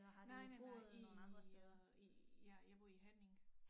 Nej nej nej i øh i ja jeg bor i Herning